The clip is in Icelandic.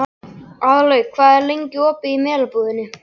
Aðalveig, hvað er lengi opið í Melabúðinni?